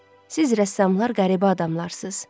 Siz rəssamlar qəribə adamlarsız.